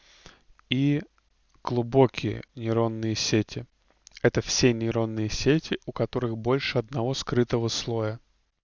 и глубокие нейронные сети это все нейронные сети у которых больше одного скрытого слоя